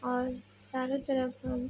और चारों तरफ हम --